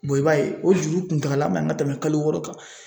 bɔn i b'a ye o juru kuntagala man ga tɛmɛ kalo wɔɔrɔ kan